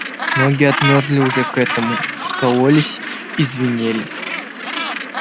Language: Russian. ноги отмёрзли уже к этому кололись и звенели